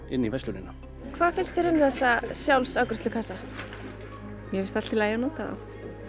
inn í verslunina hvað finnst þér um þessa sjálfsafgreiðslukassa mér finnst allt í lagi að nota þá